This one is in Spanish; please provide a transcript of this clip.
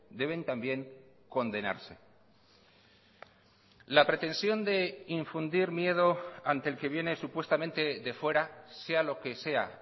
deben también condenarse la pretensión de infundir miedo ante el que viene supuestamente de fuera sea lo que sea